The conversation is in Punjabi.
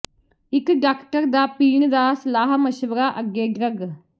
ਇੱਕ ਡਾਕਟਰ ਨਾ ਪੀਣ ਦਾ ਸਲਾਹ ਮਸ਼ਵਰਾ ਅੱਗੇ ਡਰੱਗ